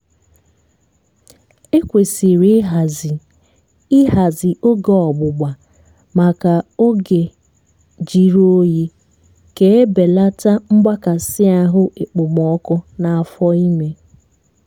ekwesiri ihazi ihazi oge ọgbụgba maka ógè jírí oyi ka ebelata mgbakasị ahụ ekpomoku n'afọ ime